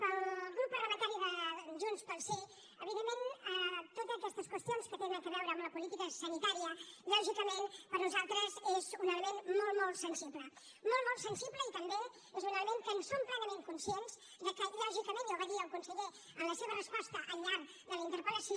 pel grup parlamentari de junts pel sí evidentment totes aquestes qüestions que tenen a veure amb la política sanitària lògicament per nosaltres és un element molt molt sensible molt molt sensible i també és un element que en som plenament conscients lògicament ja ho va dir el conseller en la seva resposta al llarg de la interpel·lació